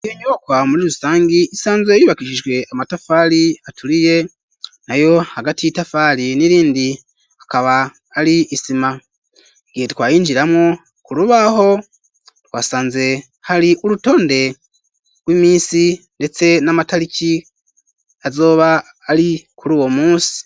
iyo nyubakwa muri rusangi isanzwe yubakishijwe amatafari aturiye, na yo hagati y'itafari n'irindi hakaba ari isima gihe twayinjiramwo ku rubaho twasanze hari urutonde rw'iminsi ndetse n'amatariki azoba ari kuri uwo munsi.